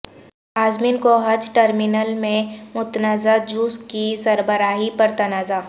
عازمین کو حج ٹرمنل میں متنازعہ جوس کی سربراہی پر تنازعہ